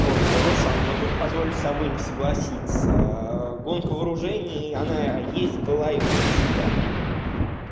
ой руслан вот тут позволю с тобой не согласиться гонка вооружений она есть была и будет всегда